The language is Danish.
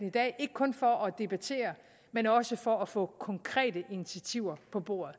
i dag ikke kun for at debattere men også for at få konkrete initiativer på bordet